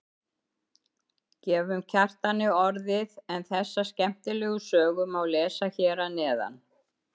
Gefum Kjartani orðið en þessa skemmtilegu sögu má lesa hér að neðan.